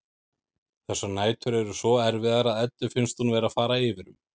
Þessar nætur eru svo erfiðar að Eddu finnst hún vera að fara yfir um.